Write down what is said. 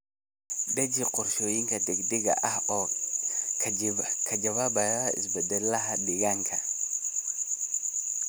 Deji qorshooyin degdeg ah oo ka jawaabaya isbeddellada deegaanka.